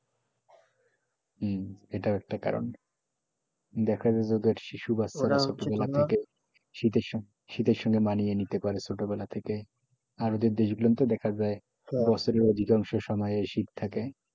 হম এটাও একটা কারণ দেখা যায় যে ওদের শিশু বাচ্চারা হচ্ছে যে শীতের সময় মানিয়ে নিতে পারে ছোটোবেলা থেকে আর ওদের গুলোতে দেখা যায় সময় অধিককাংশ সময় শীত থাকে,